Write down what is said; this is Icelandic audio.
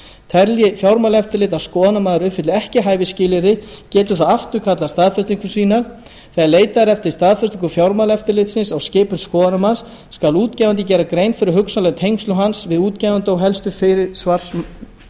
telji fjármálaeftirlitið að skoðunarmaður uppfylli ekki hæfisskilyrði getur það afturkallað staðfestingu sína þegar leitað er eftir staðfestingu fjármáleftirlitsins á skipun skoðunarmanns skal útgefandi gera grein fyrir hugsanlegum tengslum hans við útgefanda